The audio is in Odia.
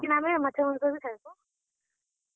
लेकिन ଆମେ ମାଛ, ମାଂସ୍ ବି ଖାଏସୁଁ।